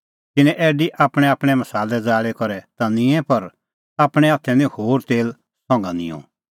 तिन्नैं ऐडी आपणैंआपणैं मसालै ज़ाल़ी करै ता निंयैं पर आपणैं हाथै निं होर तेल संघा निंयं